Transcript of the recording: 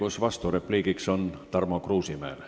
Õigus vasturepliigiks on Tarmo Kruusimäel.